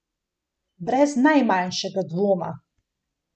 Brez najmanjšega dvoma.